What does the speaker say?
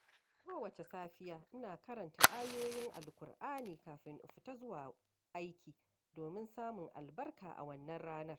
Kowace safiya, ina karanta ayoyin Alƙur’ani kafin in fita zuwa aiki, domin samun albarka a wannan ranar.